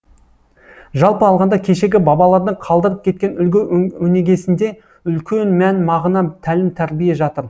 жалпы алғанда кешегі бабалардың қалдырып кеткен үлгі өнегесінде үлкен мән мағына тәлім тәрбие жатыр